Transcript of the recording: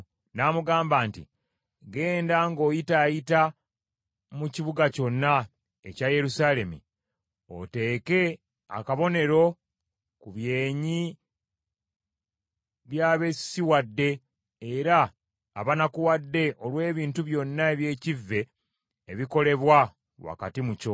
n’amugamba nti, “Genda ng’oyitaayita mu kibuga kyonna ekya Yerusaalemi, oteeke akabonero ku byenyi by’abeesisiwadde era abanakuwadde olw’ebintu byonna eby’ekivve ebikolebwa wakati mu kyo.”